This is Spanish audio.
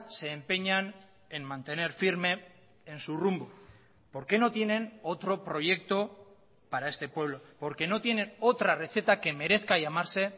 se empeñan en mantener firme en su rumbo porque no tienen otro proyecto para este pueblo porque no tienen otra receta que merezca llamarse